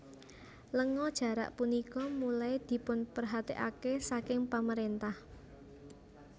Lenga jarak punika mulai dipunperhatekake saking pemerintah